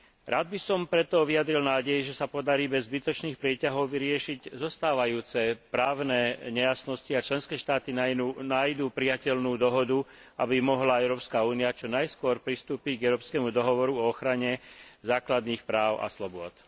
Rád by som preto vyjadril nádej, že sa podarí bez zbytočných prieťahov vyriešiť zostávajúce právne nejasnosti a členské štáty nájdu prijateľnú dohodu, aby mohla Európska únia čo najskôr pristúpiť k Európskemu dohovoru o ochrane základných práv a slobôd.